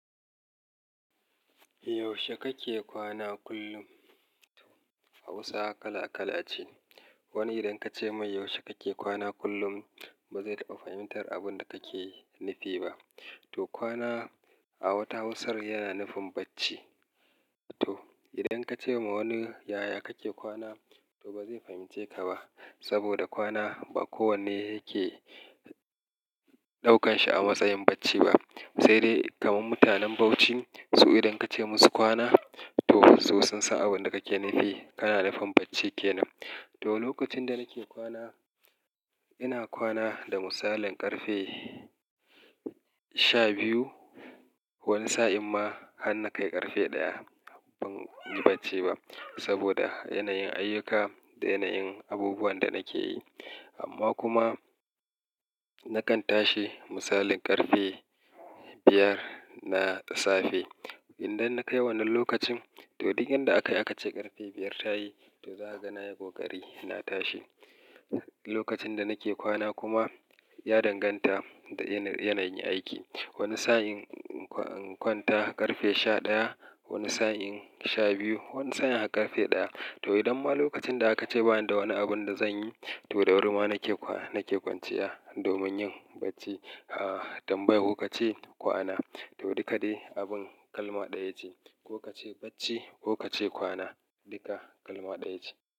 Yaushe kake kwana kullum? Hausa kala kala ce. Wani idan ka ce mai yaushe kake kwana kullum, ba zai taɓa fahimtar abin da kake nufi ba. Toh kwana a wata Hausar yana nufin bacci. Toh idan ka ce ma wani yaya kake kwana, to ba zai fahimce ka ba. Saboda kwana ba kowanne yake ɗaukan shi a matsayin bacci ba. Sai dai kaman mutanen Bauchi, su idan ka ce musu kwana, to su sun san abin da kake nufi, kana nufin bacci kenan. Toh lokacin da nake kwana, ina kwana da misalin ƙarfe sha biyu. Wani sa'in ma har na kai ƙarfe ɗaya ban yi bacci ba. Saboda yanayin ayuka da yanayin abubuwan da nake yi. Amma kuma na kan tashi misalin ƙarfe biyar na safe. Idan na kai wannan lokacin, to duk inda aka yi aka ce ƙarfe biyar ta yi, to za a ga na yi ƙoƙari na tashi. Lokacin da nake kwana kuma ya danganta da yanayi aiki. Wani sa'in in kwanta ƙarfe sha ɗaya, wani sa'in sha biyu, wani sa'in har ƙarfe ɗaya. To idan ma lokacin da aka ce bani da wani abun da zan yi, to da wuri ma nake kwa nake kwanciya domin yin bacci. A'a tambaya ku ka ce kwana, toh duka dai abun kalma ɗaya ce. Ko ka ce bacci ko ka ce kwana, duka kalma ɗaya ce.